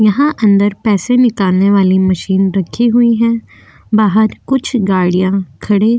यहाँ अदंर पैसे निकलने वाली मशीन रखी हुई है बाहर कुछ गाड़िया खड़ी --